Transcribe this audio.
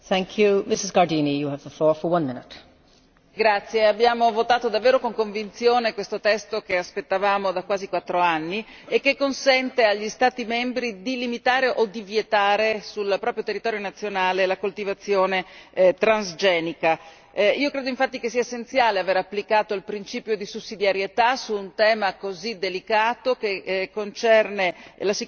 Signora Presidente, onorevoli colleghi, abbiamo votato davvero con convinzione questo testo, che aspettavamo da quasi quattro anni e che consente agli Stati membri di limitare o di vietare nel proprio territorio nazionale la coltivazione transgenica. Io credo infatti che sia essenziale aver applicato il principio di sussidiarietà su un tema così delicato, che concerne la sicurezza ambientale e la sicurezza ambienta.